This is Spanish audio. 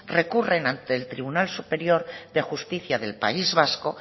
recurren ante el tribunal superior de justicia del país vasco